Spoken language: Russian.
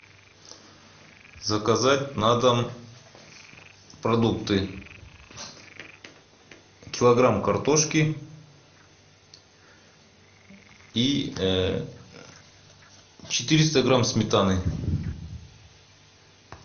заказать на дом продукты килограмм картошки и четыреста грамм сметаны